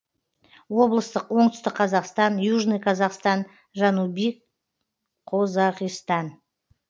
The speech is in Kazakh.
облыстық оңтүстік қазақстан южный казахстан жанубий қозоғистан